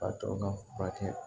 K'a tɔ ka furakɛ